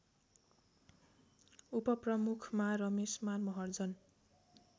उपप्रमुखमा Rameshman Maharjan